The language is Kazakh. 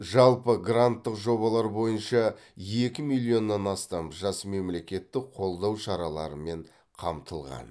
жалпы гранттық жобалар бойынша екі миллионнан астам жас мемлекеттік қолдау шараларымен қамтылған